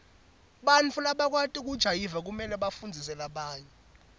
bantfu labakwati kujayiva kumele bafundzise labanye